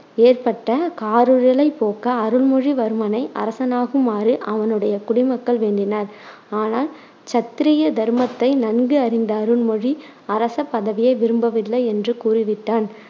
ஏற்பட்ட காரிருளைப் போக்க, அருள்மொழிவர்மனை அரசனாகுமாறு அவனுடைய குடிமக்கள் வேண்டினர். ஆனால் சத்திரிய தருமத்தை நன்கு அறிந்த அருண்மொழி அரசபதவியை விரும்பவில்லை என்று கூறிவிட்டான்.